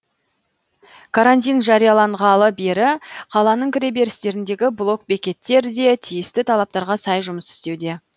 карантин жарияланғалы бері қаланың кіреберістеріндегі блокбекеттер де тиісті талаптарға сай жұмыс істеуде